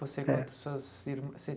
Você quanto É suas irmãs vocè?